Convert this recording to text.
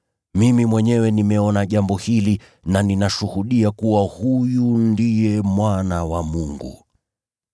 Mimi mwenyewe nimeona jambo hili na ninashuhudia kuwa huyu ndiye Mwana wa Mungu.”